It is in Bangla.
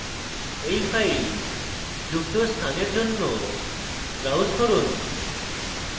এই file যুক্ত স্থানের জন্য browse করুন